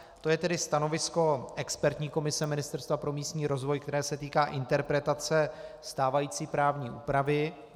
To je tedy stanovisko expertní komise Ministerstva pro místní rozvoj, které se týká interpretace stávající právní úpravy.